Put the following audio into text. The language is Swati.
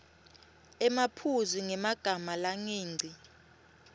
emaphuzu ngemagama langengci